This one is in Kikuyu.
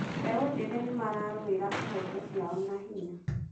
Mbeũ njĩthĩ nĩ mararũĩra ihooto ciao na hinya.